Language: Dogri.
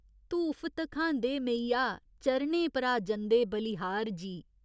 धूफ धखांदे मेइया चरणें परा जंदे बलिहार जी।